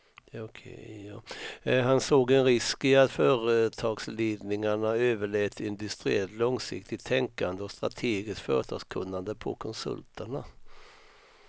Han såg en risk i att företagsledningarna överlät industriellt långsiktigt tänkande och strategiskt företagskunnande på konsulterna.